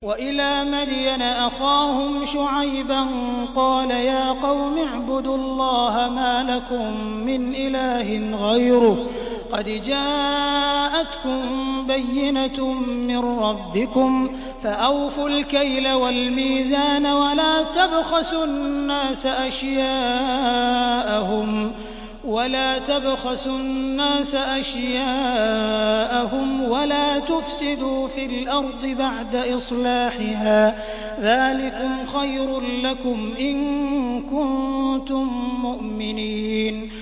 وَإِلَىٰ مَدْيَنَ أَخَاهُمْ شُعَيْبًا ۗ قَالَ يَا قَوْمِ اعْبُدُوا اللَّهَ مَا لَكُم مِّنْ إِلَٰهٍ غَيْرُهُ ۖ قَدْ جَاءَتْكُم بَيِّنَةٌ مِّن رَّبِّكُمْ ۖ فَأَوْفُوا الْكَيْلَ وَالْمِيزَانَ وَلَا تَبْخَسُوا النَّاسَ أَشْيَاءَهُمْ وَلَا تُفْسِدُوا فِي الْأَرْضِ بَعْدَ إِصْلَاحِهَا ۚ ذَٰلِكُمْ خَيْرٌ لَّكُمْ إِن كُنتُم مُّؤْمِنِينَ